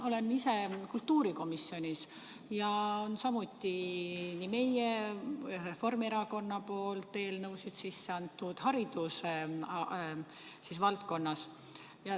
Olen ise kultuurikomisjonis ja samuti meie, Reformierakonna poolt eelnõusid sisse andnud hariduse valdkonnas.